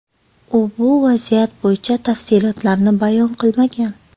U bu vaziyat bo‘yicha tafsilotlarni bayon qilmagan.